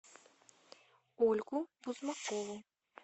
ольгу бузмакову